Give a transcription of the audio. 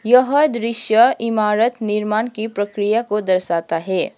यह दृश्य इमारत निर्माण की प्रक्रिया को दर्शाता है।